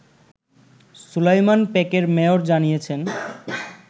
সুলাইমান পেকের মেয়র জানিয়েছেন